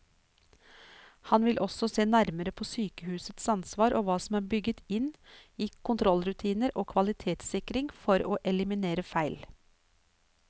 Han vil også se nærmere på sykehusets ansvar og hva som er bygget inn i kontrollrutiner og kvalitetssikring for å eliminere feil.